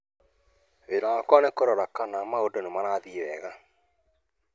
Wĩra wakwa nĩ kurora kana maũndũnĩ marathi wega